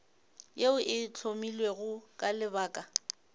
yeo e hlomilwego ka lebaka